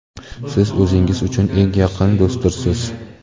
siz o‘zingiz uchun eng yaqin do‘stdirsiz….